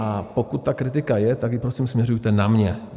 A pokud ta kritika je, tak ji prosím směřujte na mě.